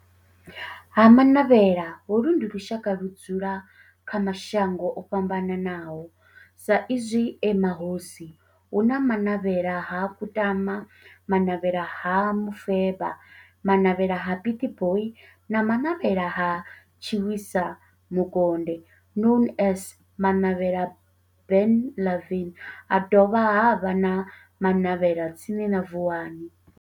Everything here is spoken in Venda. Ha-Manavhela, holu ndi lushaka ludzula kha mashango ofhambanaho sa izwi e mahosi, hu na Manavhela ha Kutama, Manavhela ha Mufeba, Manavhela ha Pietboi na Manavhela ha Tshiwisa Mukonde known as Manavhela Benlavin, na dovha havha na Manavhela tsini na Vuwani.